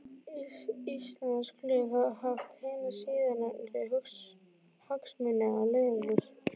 Íslensk lög hafa haft hina síðarnefndu hagsmuni að leiðarljósi.